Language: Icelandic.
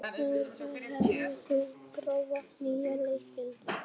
Eragon, hefur þú prófað nýja leikinn?